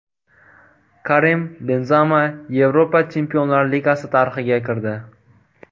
Karim Benzema Yevropa Chempionlar Ligasi tarixiga kirdi.